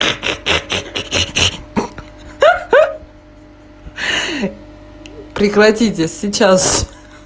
ха-ха-ха прекратите сейчас же